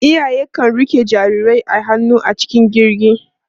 Iyaye kan riƙe jarirai a hannu a cikin jirgi.